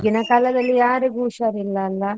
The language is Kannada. ಈಗಿನ ಕಾಲದಲ್ಲಿ ಯಾರಿಗೂ ಹುಷಾರಿಲ್ಲ ಅಲ್ಲಾ?